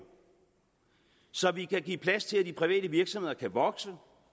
så vi kan give plads til at de private virksomheder kan vokse og